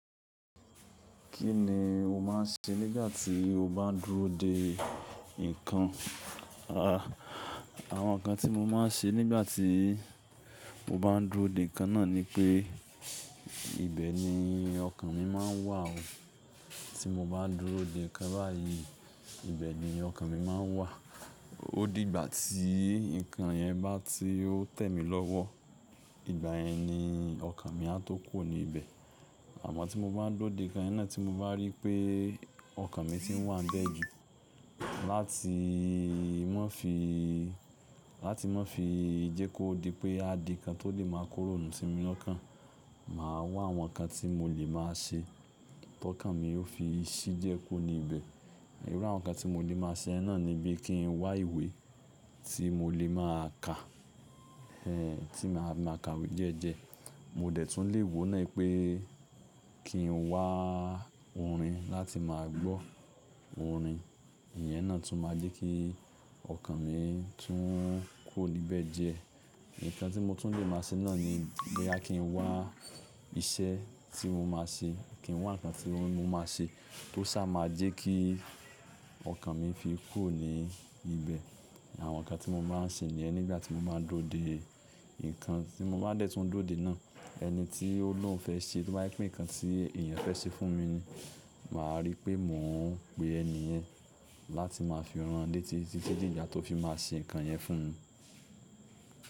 Kí ni o máa ń ṣe nígbà tí o bá n dúró de nǹkan? Àwọn nǹkan tí mo máa ń ṣe nígbà tí mo bá ń dúró de nǹkan náà ni pé, ibẹ̀ ni ọkàn mi máa ń wà ó. Tí mo bá dúró de nǹkan báyìí, ibẹ̀ ni ọkàn mi máa ń wà. Ó di ìgbà tí nǹkan yẹn bá ti ó tẹ̀ mí lọ́wọ́, ìgbà yẹn ni ọkàn mi a tó kù o ní bẹ̀. Àmọ́ tí mo bá ń dúró de nǹkan iná tí mo bá rí pé ọkàn mi ti ń wà níbẹ̀ jù, láti má fi, láti má fi jẹ kó di pé a di nǹkan tó lè máa kó runu si mí lọ́kàn, màá wá àwọn nǹkan tí mo lè máa ṣe tó kàn mi ó fi ṣi jẹ kó ní bẹ̀. Irú àwọn nǹkan tí mo lè máa ṣe náà ni bí kí ń wá ìwé tí mo lè máa kà, ẹ́ tí màá máa ka iwe jẹ́ẹ́jẹ́. Mo de tún lè wò náà pé kí ń wá orin láti máa gbọ́ orin. Ìyẹn náà tún máa jẹ́ kí ọkàn mi tún kùo níbẹ̀ dẹr. Ìtàn tí mo tún lè máa ṣe náà ni bo ya kí ń wá iṣẹ́ tí mo máa ṣe. Kí ń wá nǹkan tí mo máa ṣe tó sá máa jẹ́ kí ọkàn mi fi kù o ní ibẹ̀. Àwọn nǹkan tí mo máa ń ṣe nìyẹn nígbà tí mo bá ń dúró de nǹkan tí mo bá dẹ́ tún dúró de náà. Ẹni tí ó ló ń fẹ́ ṣe, tó bá yí pé nǹkan tí èèyàn fẹ́ ṣe fún mi ni, màá rí pé mò ń pe ẹni yẹn láti máa fi rán le tí, títí dé ìgbà tó fi máa ṣe nǹkan yẹn fún mi.